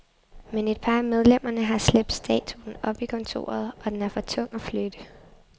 Men et par af medlemmerne har slæbt statuen op i kontoret, og den er for tungt at flytte.